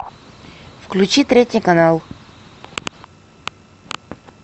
включи третий канал